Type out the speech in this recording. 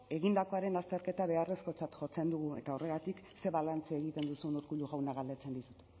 egindakoaren azterketa beharrezkotzat jotzen dugu eta horregatik ze balantze egiten duzun urkullu jauna galdetzen dizut